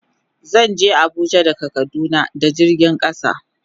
Zan je Abuja daga kaduna da jirgin kasa.